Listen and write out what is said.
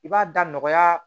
I b'a da nɔgɔya